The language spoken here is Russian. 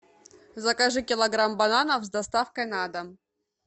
закажи килограмм бананов с доставкой на дом